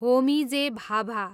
Homi J. Bhabha